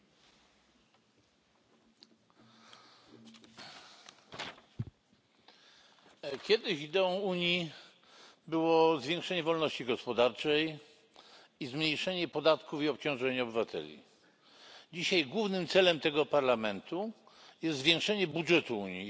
Pani Przewodnicząca! Kiedyś ideą Unii było zwiększenie wolności gospodarczej i zmniejszenie podatków i obciążenia obywateli. Dzisiaj głównym celem tego Parlamentu jest zwiększenie budżetu Unii i zmuszenie krajów członkowskich do zwiększenia podatków i obciążeń.